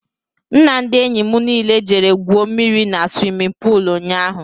M na ndị enyị mụ niile jere gwuo mmiri n'swimin poolu ụnyaahụ..